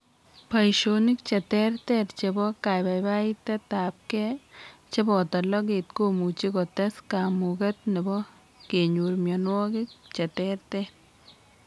Boishonik cheterter chebo kabaibaitetabge cheboto loget komuchi kotes kamuget nebo kenyor mionwogik cheterter